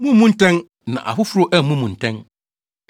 “Mummmu ntɛn, na afoforo ammu mo ntɛn.